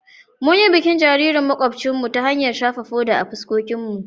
Mun yi bikin jaririn makwabcinmu ta hanyar shafa foda a fuskokinmu.